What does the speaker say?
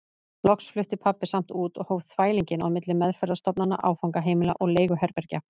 Loks flutti pabbi samt út og hóf þvælinginn á milli meðferðarstofnana, áfangaheimila og leiguherbergja.